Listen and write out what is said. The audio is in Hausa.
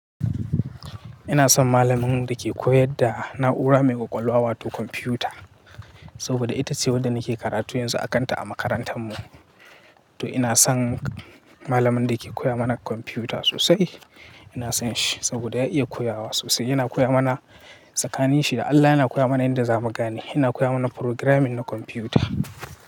Ina son malamin da ke koya da na'ura mai ƙwaƙwalwa wato kwamfiyuta, saboda ita ce wadda nake karatu yanzu a kanta a makarantar mu. To ina son malamin da ke koya mana kwamfiyuta sosai. Ina son shi saboda ya iya koyawa sosai. Yana koya mana tsakanin shi da Allah yana koya mana yadda za mu gane. Yana koya mana programming na kwamfiyuta.